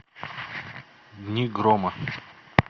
дни грома